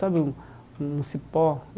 Sabe um um cipó?